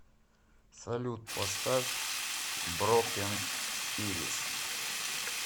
салют поставь брокен ирис